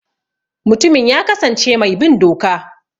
Mutumin ya kasance mai bin doka.